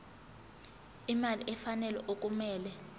imali efanele okumele